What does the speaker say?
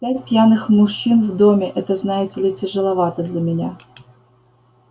пять пьяных мужчин в доме это знаете ли тяжеловато для меня